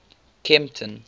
kempton